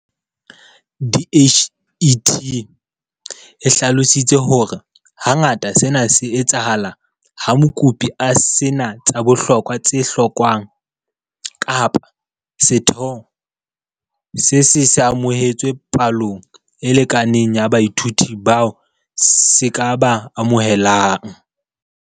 DHET e hlalositse hore hangata sena se etsahala ha mokopi a se na tsa bohlokwa tse hlokwang kapa setheo se se se amohetse palo e lekaneng ya baithuti bao se ka ba amohelang.